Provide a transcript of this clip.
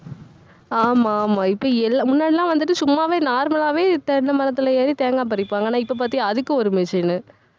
ஆமா, ஆமா. இப்ப எல்~ முன்னாடிலாம் வந்துட்டு சும்மாவே normal ஆவே தென்னை மரத்துல ஏறி தேங்காய் பறிப்பாங்க. ஆனா இப்ப பாத்தியா அதுக்கும் ஒரு machine உ